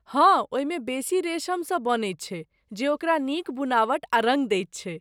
हँ, ओहिमे बेसी रेशमेसँ बनैत छै जे ओकरा नीक बुनावट आ रङ्ग दैत छै।